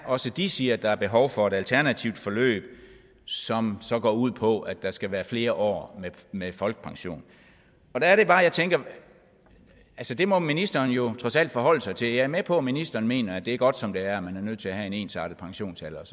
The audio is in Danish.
også de siger at der er behov for et alternativt forløb som så går ud på at der skal være flere år med folkepension så er det bare jeg tænker at det må ministeren jo trods alt forholde sig til jeg er med på at ministeren mener at det er godt som det er man er nødt til at have en ensartet pensionsalder og